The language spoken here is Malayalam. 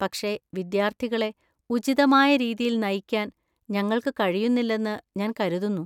പക്ഷേ, വിദ്യാർത്ഥികളെ ഉചിതമായ രീതിയിൽ നയിക്കാൻ ഞങ്ങൾക്ക് കഴിയുന്നില്ലെന്ന് ഞാൻ കരുതുന്നു.